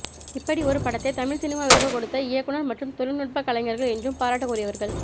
இப்படி ஒரு படத்தை தமிழ் சினிமாவிற்கு கொடுத்த இயக்குநர் மற்றும் தொழில்நுட்ப கலைஞர்கள் என்றும் பாராட்டுக்குரியவர்கள்